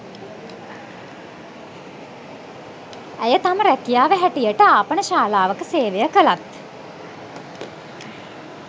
ඇය තම ‍රැකියාව හැටියට ආපනශාලාවක සේවය කලත්